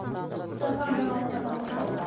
жаһан жаңалықтарына тоқталсақ